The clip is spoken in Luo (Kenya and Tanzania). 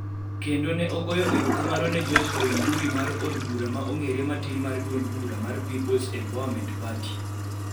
kendo ne ogoyo erokamano ne George Koimburi ma od bura ma ong'ere matin mar duond bura mar People's Empowerment Party (PEP)